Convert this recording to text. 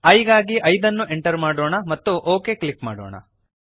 i ಗಾಗಿ 5 ಅನ್ನು enter ಮಾಡೋಣ ಮತ್ತು ಒಕ್ ಕ್ಲಿಕ್ ಮಾಡೋಣ